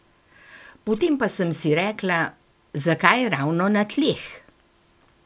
Potem pa sem si rekla, zakaj ravno na tleh?